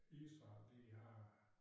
Israel de har